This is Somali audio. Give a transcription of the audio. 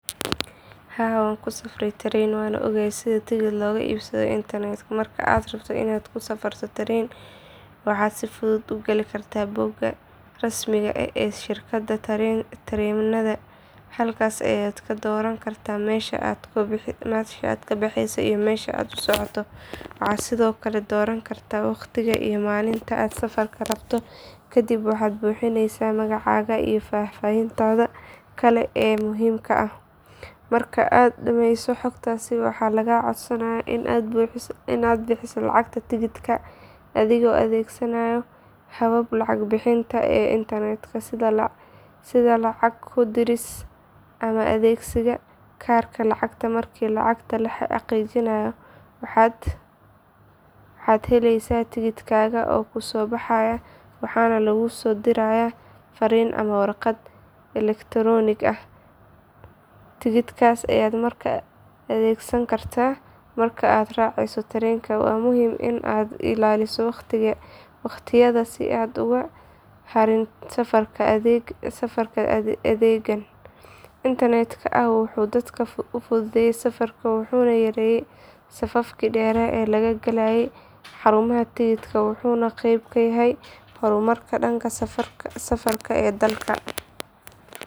Haa waan ku safaray tareen waana ogahay sida tigidh looga iibsado internet marka aad rabto inaad ku safarto tareen waxaad si fudud u gali kartaa bogga rasmiga ah ee shirkadda tareennada halkaas ayaad ka dooran kartaa meesha aad ka baxeyso iyo meesha aad u socoto waxaad sidoo kale dooran kartaa waqtiga iyo maalinta aad safarka rabto kadib waxaad buuxinaysaa magacaaga iyo faahfaahinta kale ee muhiimka ah marka aad dhamayso xogtaas waxaa lagaa codsanayaa in aad bixiso lacagta tigidhka adigoo adeegsanaya hababka lacag bixinta ee internetka sida lacag ku diris ama adeegsiga kaarka lacagta markii lacagta la xaqiijiyo waxaad helaysaa tigidhkaaga oo kuusoo baxaya waxaana laguusoo dirayaa farriin ama warqad elektaroonig ah tigidhkaas ayaad markaa adeegsan kartaa marka aad raaceyso tareenka waana muhiim in aad ilaaliso waqtiyada si aad uga hartin safarka adeeggan internetka ah wuxuu dadka u fududeeyay safarka wuxuu yareeyay safafkii dheer ee laga galayay xarumaha tigidhada wuxuuna qayb ka yahay horumarka dhanka safarka ee dalka.